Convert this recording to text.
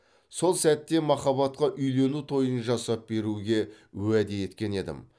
сол сәтте махаббатқа үйлену тойын жасап беруге уәде еткен едім